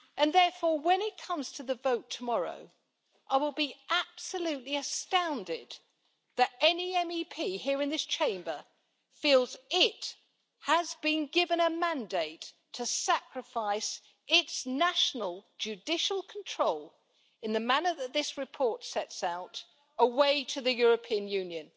Therefore, when it comes to the vote tomorrow I will be absolutely astounded if any MEP here in this Chamber feels they have have been given a mandate to sacrifice their national judicial control, in the manner that this report sets out, away to the European Union.